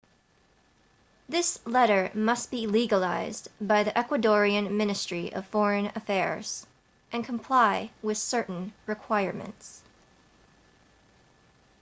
this letter must be legalized by the ecuadorian ministry of foreign affairs and comply with certain requirements